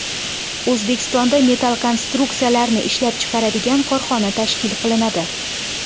O‘zbekistonda metall konstruksiyalarni ishlab chiqaradigan korxona tashkil qilinadi.